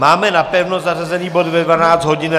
Máme napevno zařazený bod ve 12 hodin.